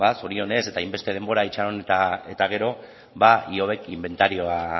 zorionez eta hainbeste denbora itxaron eta gero ihobek inbentarioa